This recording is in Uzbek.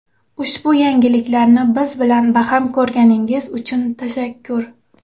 Ushbu yangilikni biz bilan baham ko‘rganingiz uchun tashakkur!